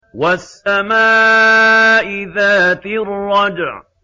وَالسَّمَاءِ ذَاتِ الرَّجْعِ